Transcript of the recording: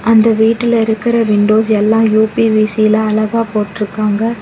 அந்த வீட்டுல இருக்கற விண்டோஸ் எல்லா யு_பி_வி_சில அழகா போட்ருக்காங்க.